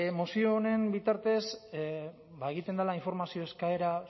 mozio honen bitartez ba egiten dela informazio eskaera